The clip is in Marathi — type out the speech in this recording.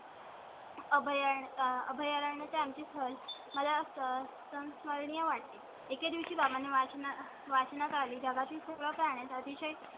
अभय, अभय आणि त्यांची सहल मला संस्मरणीय वाट तील एका दिवशी बाबा ने वाचणार वाचनात आली. जगातील सगळ्या अतिशय